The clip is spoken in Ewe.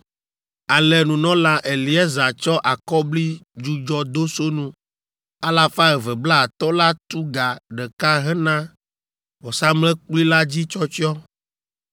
Ale nunɔla Eleazar tsɔ akɔblidzudzɔdosonu alafa eve blaatɔ̃ la tu ga ɖeka hena vɔsamlekpui la dzi tsyɔtsyɔ